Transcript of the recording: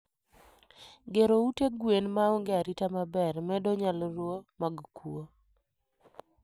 Gero ute gwen maonge arita maber medo nyalruo mag kuo